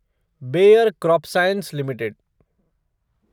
bear crop science limited